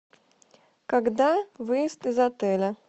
когда выезд из отеля